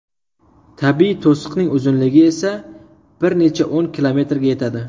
Tabiiy to‘siqning uzunligi esa bir necha o‘n kilometrga yetadi.